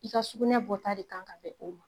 I ka sugunɛ bɔta de kan ka bɛn o ma.